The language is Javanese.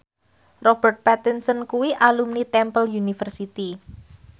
Robert Pattinson kuwi alumni Temple University